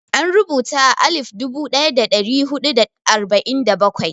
An rubuta a alif dubu ɗaya da ɗari huɗu da arba'in da bakwai.